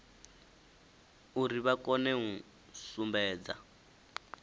uri vha kone u sumbedza